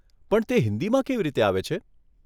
પણ તે હિંદીમાં કેવી રીતે આવે છે?